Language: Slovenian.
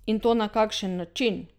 In to na kakšen način!